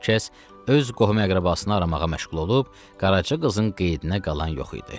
Hər kəs öz qohum-əqrəbasını aramağa məşğul olub, Qaraca qızın qeydinə qalan yox idi.